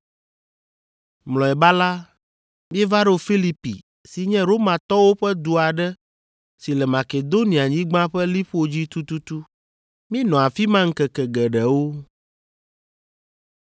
Mlɔeba la, míeva ɖo Filipi si nye Romatɔwo ƒe du aɖe si le Makedonianyigba ƒe liƒo dzi tututu. Míenɔ afi ma ŋkeke geɖewo.